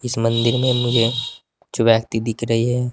इस मंदिर में मुझे कुछ व्यक्ति दिख रही है।